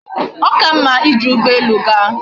O ka mma ije ugbo elu gaa?